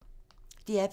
DR P2